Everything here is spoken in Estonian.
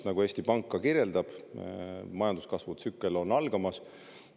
Nagu Eesti Pank ka kirjeldab: majanduskasvu tsükkel on algamas.